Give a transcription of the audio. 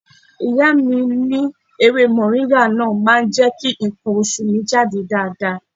Ìyá mi ní ewé Mọ̀ríngà náà máa jẹ́ kí nǹkan oṣù mi jáde dáadáa.